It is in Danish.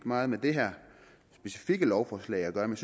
meget med det her specifikke lovforslag at gøre men